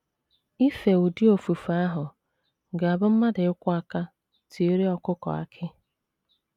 Ife ụdị ofufe ahụ ga - abụ mmadụ ịkwọ aka tiere ọkụkọ akị.